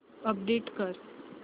update कर